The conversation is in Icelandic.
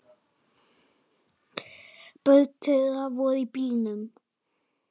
Börn þeirra voru í bílnum.